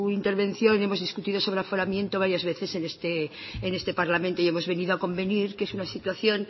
intervención y hemos discutido sobre el aforamiento varias veces en este parlamento y hemos venido a convenir que es una situación